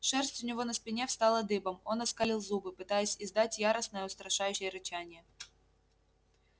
шерсть у него на спине встала дыбом он оскалил зубы пытаясь издать яростное устрашающее рычание